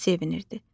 Çox sevinirdi.